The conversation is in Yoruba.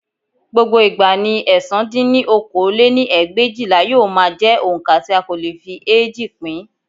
Gbogbo ìgbà ni ẹ̀sán dín ní okòó lé-ní ẹgbẹ̀éjìlá yóò máa jẹ́ oǹkà tí a kò lè fi eéjì pín